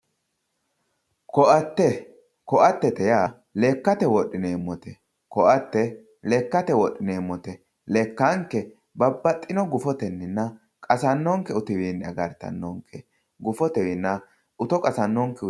ko'atete yaa lekkate wodhineemmote koa'ate lekkate wodhineemmote lekkanke babbaxitinno gufotenninna qasannokki gede agartannonke gufotennina uto qasannonkekki